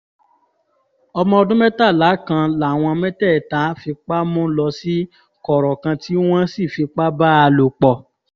ọmọ ọdún mẹ́tàlá kan làwọn mẹ́tẹ̀ẹ̀ta fipá mú lọ sí kọ̀rọ̀ kan tí wọ́n sì fipá bá a lò pọ̀